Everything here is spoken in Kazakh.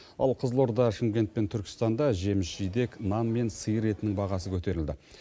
ал қызылорда шымкент пен түркістанда жеміс жидек нан мен сиыр етінің бағасы көтерілді